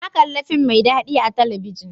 Na kalli fim mai dadi a talabijin.